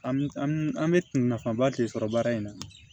An an bɛ nafaba de sɔrɔ baara in na